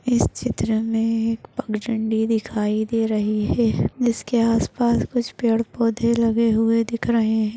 इस चित्र मे एक पगझंडी दिखाई दे रही है। जिसके आस पास कुछ पेड़ पोधे लगे हुए दिख रहे --